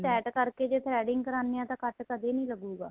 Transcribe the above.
tight ਕਰਕੇ ਜ਼ੇ threading ਕਰਾਨੇ ਹਾਂ ਤਾਂ ਕੱਟ ਕਦੇਂ ਨਹੀਂ ਲੱਗੂਗਾ